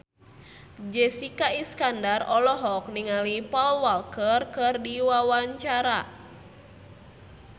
Jessica Iskandar olohok ningali Paul Walker keur diwawancara